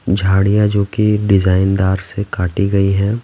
झाड़ियाँ जो कि डिजाइन दार से काटी गई हैं ।